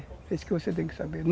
É isso que você tem que saber.